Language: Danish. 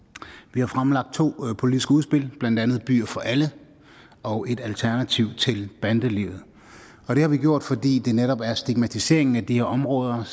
vi har fremlagt to politiske udspil blandt andet byer for alle og et alternativ til bandelivet og det har vi gjort fordi det netop er sådan at stigmatiseringen af de her områder